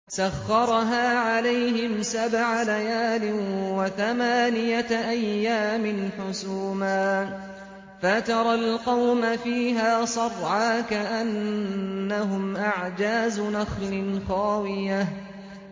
سَخَّرَهَا عَلَيْهِمْ سَبْعَ لَيَالٍ وَثَمَانِيَةَ أَيَّامٍ حُسُومًا فَتَرَى الْقَوْمَ فِيهَا صَرْعَىٰ كَأَنَّهُمْ أَعْجَازُ نَخْلٍ خَاوِيَةٍ